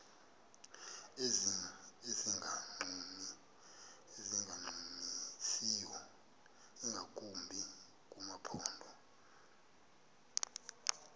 ezingancumisiyo ingakumbi kumaphondo